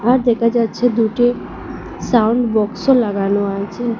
আর দেখা যাচ্ছে দুটি সাউন্ড বক্সও লাগানো আছে।